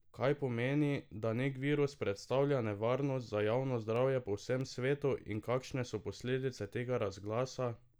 Kaj pomeni, da nek virus predstavlja nevarnost za javno zdravje po vsem svetu in kakšne so posledice tega razglasa?